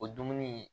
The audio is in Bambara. O dumuni